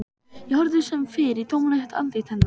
Ég horfði sem fyrr í tómlegt andlit hennar.